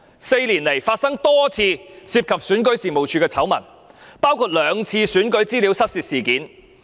四年來發生多次涉及選舉事務處的醜聞，包括兩次選舉資料失竊事件。